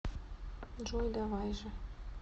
джой давай же